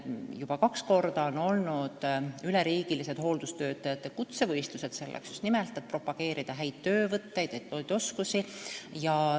Juba kaks korda on olnud üleriigilised hooldustöötajate kutsevõistlused – just nimelt selleks, et propageerida häid töövõtteid ja oskusi.